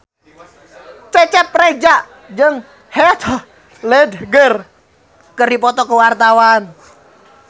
Cecep Reza jeung Heath Ledger keur dipoto ku wartawan